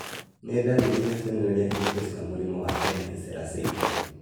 Nĩ ndariri na cionereria irĩkũ cia mũrimũ wa Empty sella syndrome?